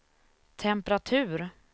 temperatur